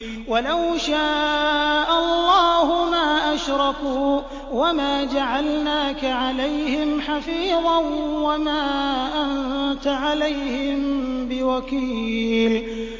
وَلَوْ شَاءَ اللَّهُ مَا أَشْرَكُوا ۗ وَمَا جَعَلْنَاكَ عَلَيْهِمْ حَفِيظًا ۖ وَمَا أَنتَ عَلَيْهِم بِوَكِيلٍ